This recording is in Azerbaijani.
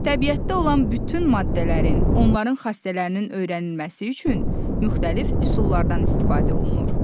Təbiətdə olan bütün maddələrin, onların xassələrinin öyrənilməsi üçün müxtəlif üsullardan istifadə olunur.